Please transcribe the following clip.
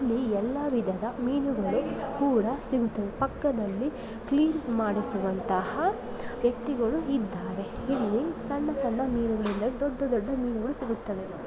ಇಲ್ಲಿ ಎಲ್ಲಾ ವಿಧದ ಮೀನುಗಳು ಕೂಡ ಸಿಗುತ್ತವೆ ಪಕ್ಕದಲ್ಲಿ ಕ್ಲೀನ್ ಮಾಡಿಸುವಂತ ವ್ಯಕ್ತಿಗಳು ಇದ್ದಾರೆ ಇಲ್ಲಿ ಸಣ್ಣ ಸಣ್ಣ ಮೀನುಗಳಿಂದ ದೊಡ್ಡ ದೊಡ್ಡ ಮೀನುಗಳು ಸಿಗುತ್ತವೆ.